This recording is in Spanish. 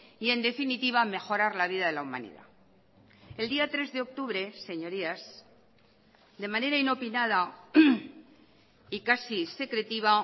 y en definitiva mejorar la vida de la humanidad el día tres de octubre señorías de manera inopinada y casi secretiva